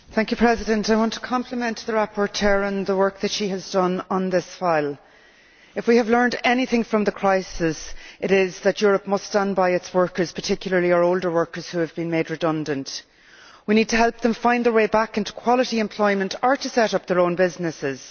Madam President, I want to compliment the rapporteur on the work that she has done on this file. If we have learnt anything from the crisis it is that Europe must stand by its workers, particularly our older workers who have been made redundant. We need to help them find their way back into quality employment or set up their own businesses.